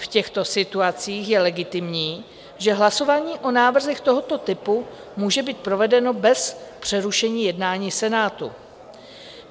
V těchto situacích je legitimní, že hlasování o návrzích tohoto typu může být provedeno bez přerušení jednání Senátu.